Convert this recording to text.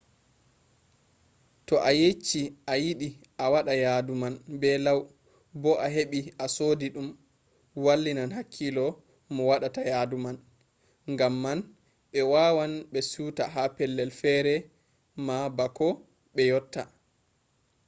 to a yecci a yiɗi a waɗa yadu man be law bo a heɓi a sodi ɗum wallinan hakkilo mo waɗata yadu man gam man ɓe wawan ɓe suita ha pellel fere ma bako ɓe yotta